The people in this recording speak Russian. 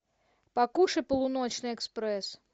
покушай полуночный экспресс